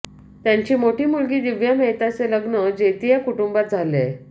त्यांची मोठी मुलगी दिव्या मेहताचे लग्न जेतिया कुटुंबात झालेय